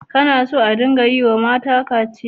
Kana so a dinga yiwa mata kaciya?